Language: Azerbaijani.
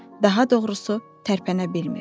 Daha doğrusu, tərpənə bilmir.